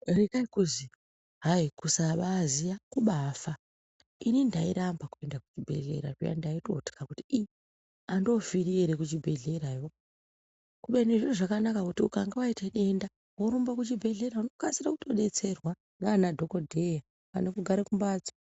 Rekai kuzi hayi kusabaaziya kubaafa, ini ndairamba kupinda kuchibhehlera kuya ndaitotya kuti ii andoofiriyo ere kuchibhehlerayo. Kubeni zviro zvakanaka ngokuti ukange waite denda worumbe kuchibhehlera unokasire kudetserwa ndiana dhogodheya, pane kugara kumbatso.